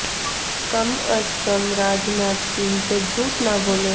کم از کم راج ناتھ سنگھ تو جھوٹ نہ بولیں